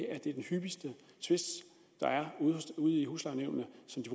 at det er den hyppigste tvist der er ude i huslejenævnene